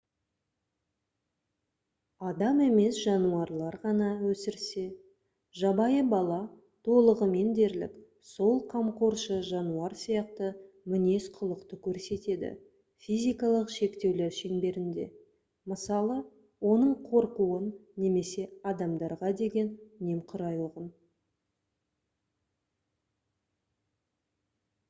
адам емес жануарлар ғана өсірсе жабайы бала толығымен дерлік сол қамқоршы жануар сияқты мінез-құлықты көрсетеді физикалық шектеулер шеңберінде мысалы оның қорқуын немесе адамдарға деген немқұрайлығын